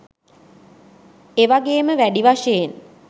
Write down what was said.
එවගේම වැඩි වශයෙන්